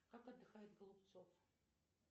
как отдыхает голубцов